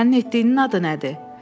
Sənin etdiyinin adı nədir?